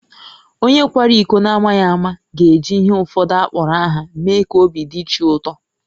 Onye kwara iko n’amaghị ama ga-eji ihe ụfọdụ akpọrọ aha mee ka obi dị chi ụtọ